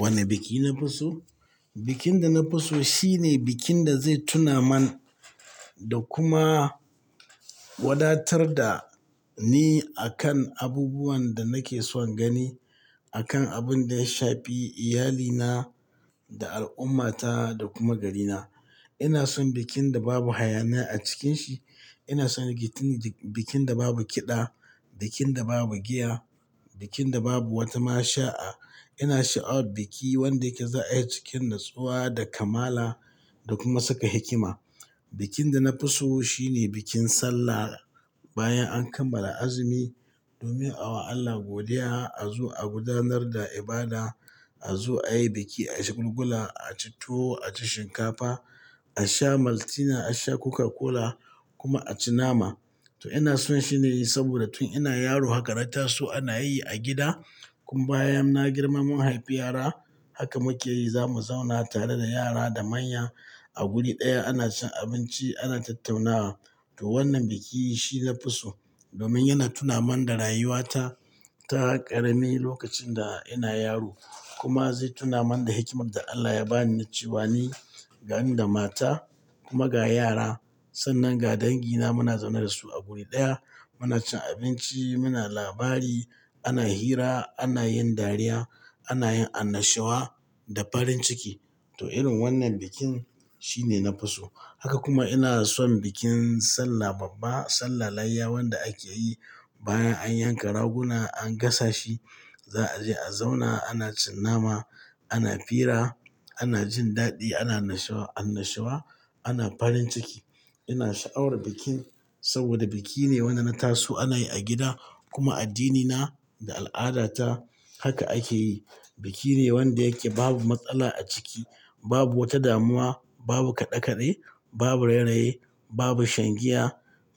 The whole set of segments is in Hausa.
Wane biki na fi so? Bikin da na fi so shine bikin da zai tuna man da kuma wadatar da ni akan abubuwan da nake son gani, akan abin da ya shafi iyalina da al'ummata da kuma garina. Ina son bikin da babu hayaniya a cikin shi. Ina son bikin da babu kiɗa, bikin da babu giya, bikin da babu wata mashaa. Ina sha'awar biki wanda yake za'a yi cikin natsuwa da kamala da kuma saka hikima. Bikin da na fi so shine bikin sallah bayan an kammala azumi domin a wa Allah godiya, a zo a gudanar da ibada, a zo a yi biki, a yi shagulgula, a ci tuwo, a ci shinkafa, a sha Maltina, a sha Coca-Cola kuma a ci nama. To ina son shi ne saboda tun ina yaro haka na taso ana yi a gida. Kuma bayan na girma mun haifi yara, haka muke yi. Za mu zauna tare da yara da manya a guri ɗaya ana cin abinci, ana tattaunawa. To wannan biki shi na fi so domin yana tuna man da rayuwata ta ƙarami lokacin da ina yaro kuma zai tuna man da hikimar da Allah ya ba ni na ce wani ga ni da mata kuma ga yara. Sannan ga dangina muna zaune da su a guri ɗaya, muna cin abinci, muna labari, ana hira, ana yin dariya, ana yin annashuwa da farin ciki. Toh irin wannan bikin shine na fi so. Haka kuma ina son bikin sallah babba, sallar layya wanda ake yi bayan an yanka raguna an gasa shi. Za a je a zauna, ana cin nama, ana fira, ana jin daɗi, ana nashawa annashawa, ana farin ciki. Ina sha'awar bikin saboda biki ne wanda na taso ana yi a gida kuma a addinina da al'adata haka ake yi. Biki ne wanda yake babu matsala a ciki, babu wata damuwa, babu kaɗe-kaɗe, babu rayeraye, babu shan giya,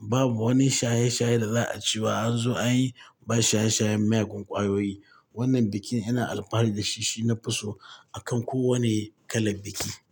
babu wani shaye-shaye da za a ce wa anzo an yi ba shaye-shayen miyagun ƙwayoyi. Wannan bikin ina alfahari da shi, shi na fi so akan kowane kalar biki.